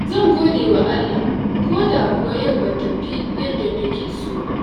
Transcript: Zan gode wa Allah koda kuwa yau ba ta tafi yadda na so ba.